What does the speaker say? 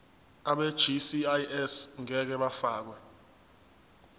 abegcis ngeke bafakwa